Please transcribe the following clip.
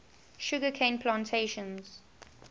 sugar cane plantations